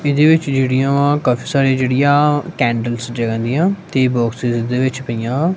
ਇਹਦੇ ਵਿੱਚ ਜਿਹੜੀਆਂ ਕਾਫੀ ਸਾਰੀਆਂ ਜਿਹੜੀਆਂ ਕੈਂਡਲਸ ਜਗਨ ਦੀਆਂ ਤੀਹ ਬੋਕਸਿਸ ਜਿਸ ਦੇ ਵਿੱਚ ਪਈਆਂ।